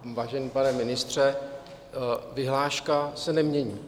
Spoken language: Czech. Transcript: Vážený pane ministře, vyhláška se nemění.